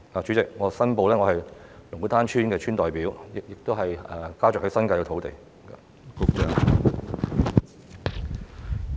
主席，我申報，我是龍鼓灘村的村代表，家族亦在新界擁有土地。